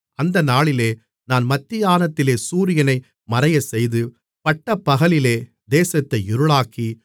அந்த நாளிலே நான் மத்தியானத்திலே சூரியனை மறையச்செய்து பட்டப்பகலிலே தேசத்தை இருளாக்கி